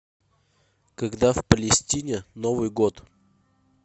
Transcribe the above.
когда в палестине новый год